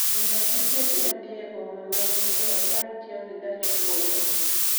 nyiewo tiket ma dhi e boma ma new york ka itiyo gi gach okolo